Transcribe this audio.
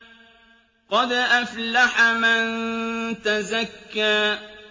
قَدْ أَفْلَحَ مَن تَزَكَّىٰ